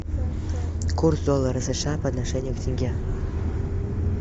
курс доллара сша по отношению к тенге